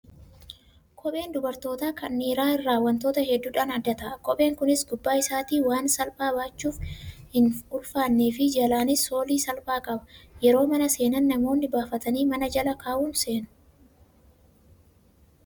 Kopheen dubartootaa kan dhiiraa irraa wantoota hedduudhaan adda ta'a. Kopheen Kunis gubbaa isaatti waan salphaa baachuuf hin ulfaannee fi jalaanis soolii salphaa qaba. Yeroo mana seenan namoonni baafatanii mana Jala kaa'uun seenu.